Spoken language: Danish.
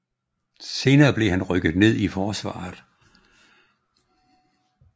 Senere hen blev han rykket ned i forsvaret